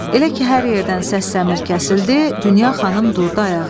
Elə ki hər yerdən səs-dəmir kəsildi, Dünya xanım durdu ayağa.